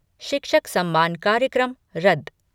शिक्षक सम्मान कार्यक्रम रद्द